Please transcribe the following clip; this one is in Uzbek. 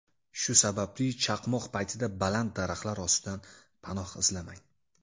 Shu sababli chaqmoq paytida baland daraxtlar ostidan panoh izlamang.